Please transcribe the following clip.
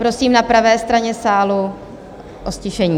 Prosím na pravé straně sálu o ztišení.